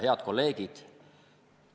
Head kolleegid!